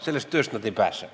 Sellest tööst ta ei pääse.